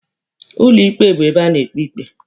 Ụlọ ikpe bụ ebe a na-ekpe ikpe.